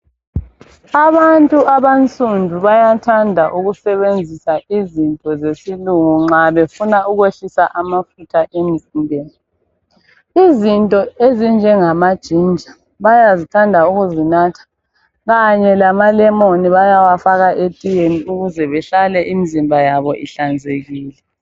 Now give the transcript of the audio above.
Abantu abansundu bayathanda ukusebenzisa izinto zesilungu nxa befuna ukwehlisa amafutha emzimbeni izinto ezinjengama ginger bayazithanda ukuzinatha kanye lama lemon bayawufaka etiyeni ukuze behlale imizimba yabo ihlanzekile.